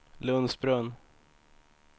Lundsbrunn